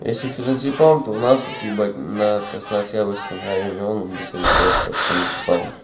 если феназепам то у нас вот ебать на краснооктябрьском районе он без рецепта феназепам